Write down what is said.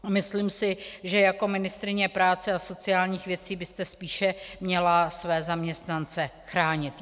Myslím si, že jako ministryně práce a sociálních věcí byste spíše měla své zaměstnance chránit.